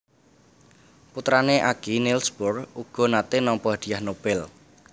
Putrané Aage Niels Bohr uga naté nampa Hadiah Nobel